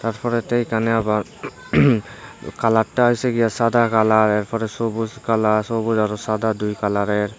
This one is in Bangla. তারপরেতে এখানে আবার কালারটা হয়েছে কিয়া সাদা কালার এরপরে সবুজ কালার সবুজ আর সাদা দুই কালারের।